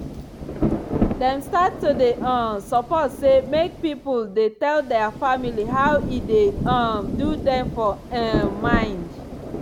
dem start to dey um support say make pipul dey tell dia family how e dey um do dem for um mind.